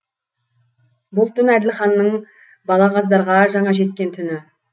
бұл түн әділханның балағаздарға жаңа жеткен түні